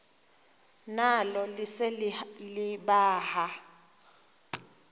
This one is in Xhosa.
nalo lise libaha